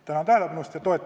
Tänan tähelepanu eest!